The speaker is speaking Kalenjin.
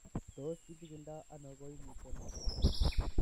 Tos kichikildo koimutioni?